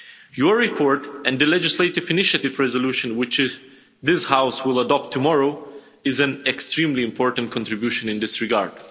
Your report and the legislative initiative resolution which this House will adopt tomorrow is an extremely important contribution in this regard.